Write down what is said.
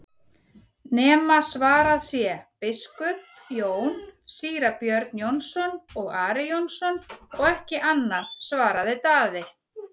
nema svarað sé:-Biskup Jón, Síra Björn Jónsson og Ari Jónsson og ekki annað, svaraði Daði.